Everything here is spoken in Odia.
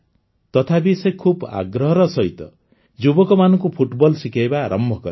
ତଥାପି ସେ ଖୁବ୍ ଆଗ୍ରହର ସହିତ ଯୁବକମାନଙ୍କୁ ଫୁଟବଲ ଶିଖାଇବା ଆରମ୍ଭ କଲେ